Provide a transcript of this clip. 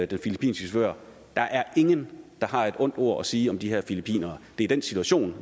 den filippinske chauffør der er ingen der har et ondt ord at sige om de her filippinere det er den situation